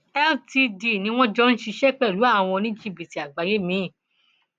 ltd ni wọn jọ ń ṣiṣẹ pẹlú àwọn oníjìbìtì àgbáyé miín